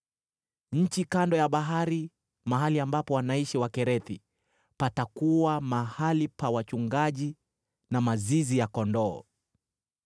Nchi kando ya bahari, mahali ambapo wanaishi Wakerethi, patakuwa mahali pa wachungaji na mazizi ya kondoo.